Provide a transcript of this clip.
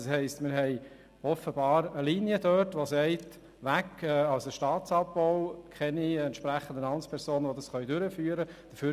Offenbar verlangt dort eine Linie Staatsabbau und will keine entsprechenden Amtspersonen, die das durchführen können.